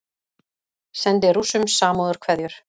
Sendi Rússum samúðarkveðjur